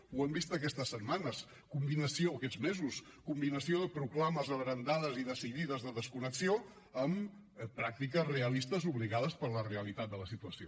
ho hem vist aquestes setmanes o aquests mesos combinació de proclames abrandades i decidides de desconnexió amb pràctiques realistes obligades per la realitat de la situació